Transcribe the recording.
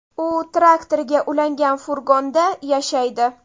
U traktoriga ulangan furgonda yashaydi.